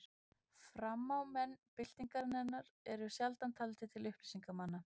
Framámenn byltingarinnar eru sjaldan taldir til upplýsingarmanna.